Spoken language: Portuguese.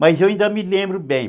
Mas eu ainda me lembro bem.